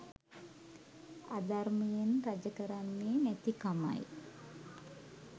අධර්මයෙන් රජ කරන්නේ නැතිකමයි.